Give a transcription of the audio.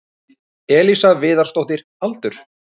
Elísa Viðarsdóttir Aldur?